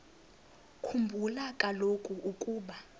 khumbula kaloku ukuba